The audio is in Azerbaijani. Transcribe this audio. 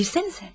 Girsənizə!